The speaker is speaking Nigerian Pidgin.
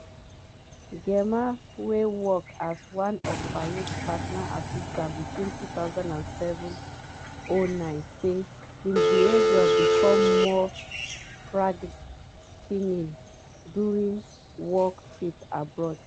gemma wey work as one of fayed personal assistants between 2007-09 say im behaviour become more frigh ten ing during work trips abroad.